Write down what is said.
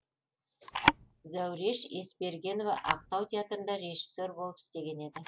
зәуреш есбергенова ақтау театрында режиссер болып істеген еді